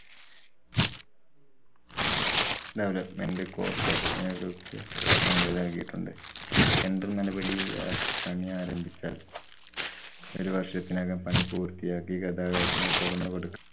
development corporation കള്‍ക്ക് അനുമതി നല്‍കിയിട്ടുണ്ട്. tendor നടപടി ഇറക്കി പണിയാരംഭിച്ചാല്‍ ഒരു വര്‍ഷത്തിനകം പണി പൂര്‍ത്തിയാക്കി ഗതാഗതത്തിനു തുറന്നു കൊടു~